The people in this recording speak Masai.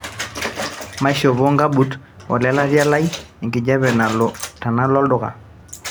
maishopo nkabuut olelatia lai e nkijape tenalo olduka